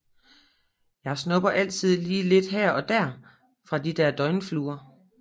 Jeg snubber altid lidt her og der fra de der døgnfluer